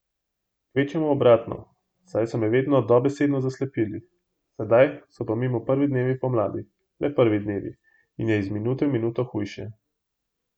Kvečjemu obratno, saj so me vedno dobesedno zaslepili, sedaj so pa mimo prvi dnevi pomladi, le prvi dnevi, in je iz minuto v minuto hujše.